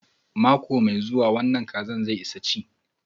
Mako mai zuwa an wanna lokacin kajin za su isa chi.